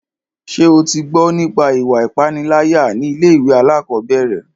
Ṣé o tí gbọ́ nípa ìwà ipániláyà ní ilé ìwé alákọ̀berẹ̀?